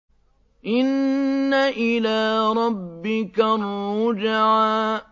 إِنَّ إِلَىٰ رَبِّكَ الرُّجْعَىٰ